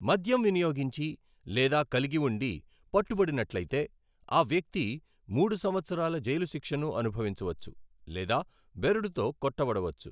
మద్యం వినియోగించి లేదా కలిగి ఉండి పట్టుబడినట్లైతే, ఆ వ్యక్తి మూడు సంవత్సరాల జైలు శిక్షను అనుభవించవచ్చు లేదా బెరడుతో కొట్టబడవచ్చు.